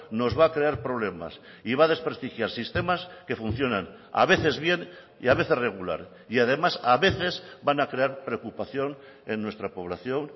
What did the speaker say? nos va a crear problemas y va a desprestigiar sistemas que funcionan a veces bien y a veces regular y además a veces van a crear preocupación en nuestra población